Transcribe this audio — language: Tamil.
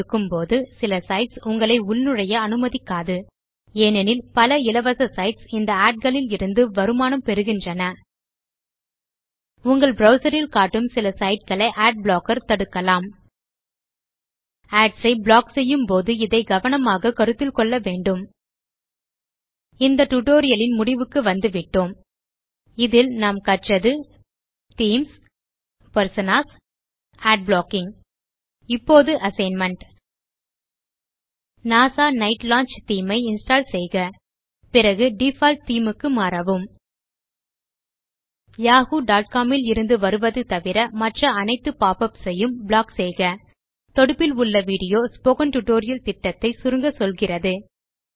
செயலில் இருக்கும் போது சில சைட்ஸ் உங்களை உள் நுழைய அனுமதிக்காது ஏனெனில் பல இலவச சைட்ஸ் இந்த அட் களில் இருந்து வருமானம் பெறுகின்றன உங்கள் ப்ரவ்சர் ல் காட்டும் சில சைட் களை அட்பிளாக்கர் தடுக்கலாம் ஏடிஎஸ் ஐ ப்ளாக் செய்யும் போது இதை கவனமாக கருத்தில் கொள்ள வேண்டும் இந்த டியூட்டோரியல் லின் முடிவுக்கு வந்துவிட்டோம் இந்த டியூட்டோரியல் லில் நாம் கற்றது தீம்ஸ் பெர்சோனாஸ் அட் ப்ளாக்கிங் இப்போது assignment NASA night launch theme ஐ இன்ஸ்டால் செய்க பிறகு டிஃபால்ட் தேமே க்கு மாறவும் yahoocomல் இருந்து வருவது தவிர மற்ற அனைத்து பாப் யுபிஎஸ் யும் ப்ளாக் செய்க தொடுப்பில் உள்ள விடியோ ஸ்போக்கன் டியூட்டோரியல் திட்டத்தை சுருங்கச்சொல்கிறது